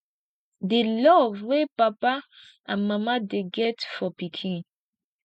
di love wey mama and papa dey get for pikin